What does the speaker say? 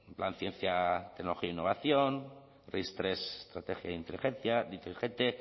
plan ciencia tecnología e innovación ris hiru estrategia inteligente